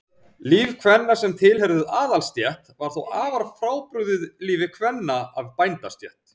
líf kvenna sem tilheyrðu aðalsstétt var þó afar frábrugðið lífi kvenna af bændastétt